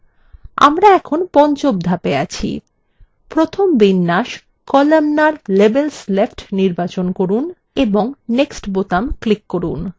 আমরা এখন পঞ্চম ধাপে আছি প্রথম বিন্যাস columnar – labels left নির্বাচন করুন এবং next বোতাম click করুন